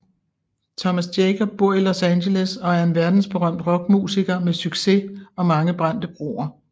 Thomas Jacob bor i Los Angeles og er en verdensberømt rockmusiker med succes og mange brændte broer